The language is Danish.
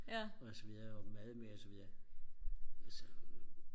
og så videre og mad med og så videre og så